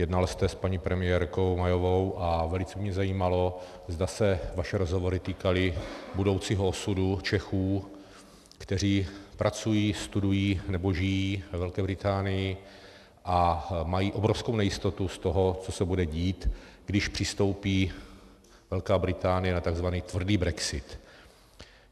Jednal jste s paní premiérkou Mayovou a velice mě zajímalo, zda se vaše rozhovory týkaly budoucího osudu Čechů, kteří pracují, studují nebo žijí ve Velké Británii a mají obrovskou nejistotu z toho, co se bude dít, když přistoupí Velká Británie na tzv. tvrdý brexit.